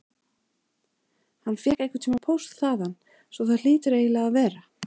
Hann fékk einhverntíma póst þaðan svo það hlýtur eiginlega að vera.